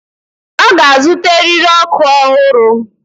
Ọ ga-azụta eriri ọkụ ọhụrụ.